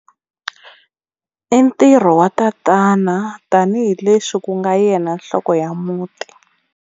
I ntirho wa tatana tanihileswi ku nga yena nhloko ya muti.